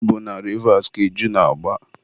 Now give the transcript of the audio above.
ọ bụ na Rivas ka iju na-agba.